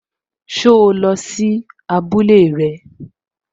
So lọ sí abúlé rẹ?